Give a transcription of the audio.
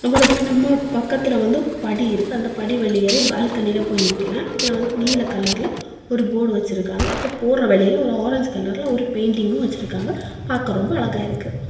அப்பறமா நம்ம பக்கத்துல வந்து படி இருக்கு அந்தப் படி வெளியேறி பால்கனில போய் நிக்கலா இதுல வந்துட்டு நீல கலர்ல ஒரு போர்டு வச்சிருக்காங்க அப்போ போற வழியில ஒரு ஆரஞ்சு கலர்ல ஒரு பெயிண்டிங்கு வச்சிருக்காங்க பாக்க ரொம்ப அழகா இருக்கு.